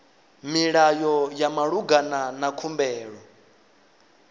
milayo ya malugana na khumbelo